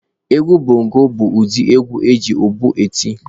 Egwu bongo bụ ụdị egwu eji ụbọ eti.